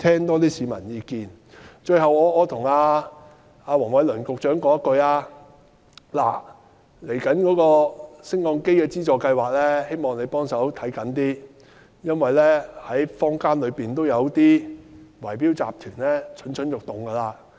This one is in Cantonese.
我也想跟黃偉綸局長談談未來的優化升降機資助計劃，希望他着緊一點，因為坊間有些圍標集團已經蠢蠢欲動。